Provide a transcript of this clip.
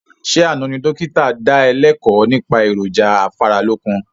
Ṣé àna ni dókítà da ẹ lẹ́kọ̀ nípa èròjà afáralókun?